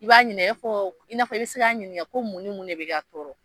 I b'a ɲininka , i b'a fɔ i n'a fɔ i be se ka ɲininka ko mun ni mun de bi ka tɔɔrɔ?